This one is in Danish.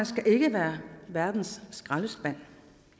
skal være verdens skraldespand